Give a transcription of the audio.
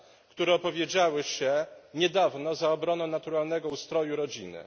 które opowiedziały się niedawno za obroną naturalnego ustroju rodziny.